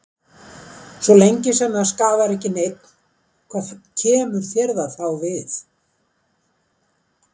Svo lengi sem að það skaðar ekki neinn, hvað kemur þér það þá við?